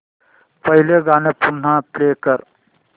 पहिलं गाणं पुन्हा प्ले कर